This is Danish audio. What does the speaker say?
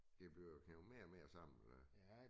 Det bliver kædet mere og mere sammen og hvad